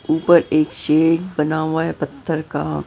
ऊपर एक शेड बना हुआ है पत्थर का।